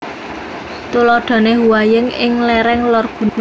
Tuladhane Huayin ing lereng Lor Gunung Hua